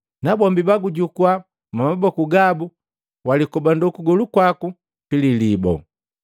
‘Nabombi bagujukua mwamaboku gabu, walikobando kugolu kwaku pililibo.’ ”